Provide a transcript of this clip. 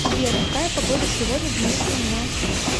сбер какая погода сегодня в нижнем на